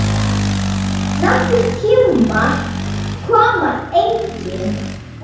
Nokkur tímarit koma einnig út.